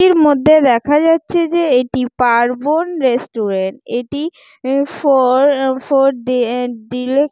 এটির মধ্যে দেখা যাচ্ছে যে এটি পার্বন রেস্টুরেন্ট এটি অ্যা ফর ফর ডে ডিলেক--